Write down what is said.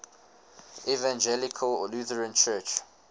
evangelical lutheran church